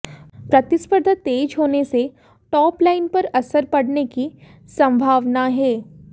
प्रतिस्पर्धा तेज होने से टॉपलाइन पर असर पडने की संभावना है